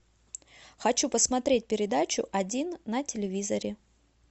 хочу посмотреть передачу один на телевизоре